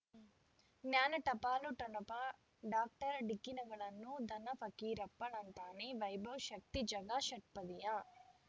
ಜ್ಞಾನ ಟಪಾಲು ಠೊಣಪ ಡಾಕ್ಟರ್ ಢಿಕ್ಕಿ ಣಗಳನು ಧನ ಫಕೀರಪ್ಪ ಳಂತಾನೆ ವೈಭವ್ ಶಕ್ತಿ ಝಗಾ ಷಟ್ಪದಿಯ